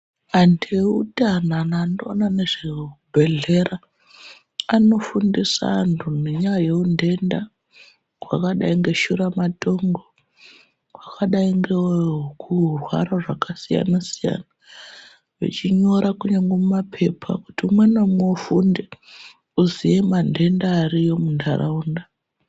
Antu eutano antu anoona ngezvezvibhedhlera anofundisa antu ngenyaya yeuntenda hwakadai ngeshuramatongo hwakadai ngewekurwara zvakasiyana siyana vachinyora kunyangwe mumapepa kuti umwe ngaumwe ufunde uziye mantenda ariyo muntaraunda.